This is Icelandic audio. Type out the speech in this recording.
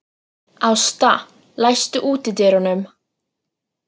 Ásta, læstu útidyrunum.